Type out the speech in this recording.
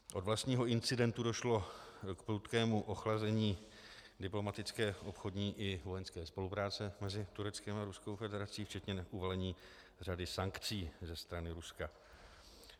Od vlastního incidentu došlo k prudkému ochlazení diplomatické obchodní i vojenské spolupráce mezi Tureckem a Ruskou federací, včetně uvalení řady sankcí ze strany Ruska.